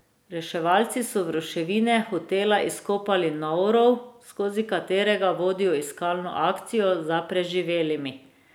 Reševalci so v ruševine hotela izkopali nov rov, skozi katerega vodijo iskalno akcijo za preživelimi.